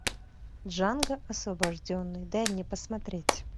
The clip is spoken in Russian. джанго освобожденный дай мне посмотреть